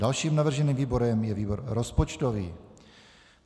Dalším navrženým výborem je výbor rozpočtový.